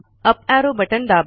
up arrow button दाबा